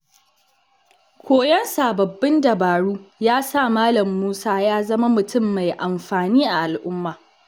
Koyon sababbin dabaru ya sa Malam Musa ya zama mutum mai amfani a al’umma.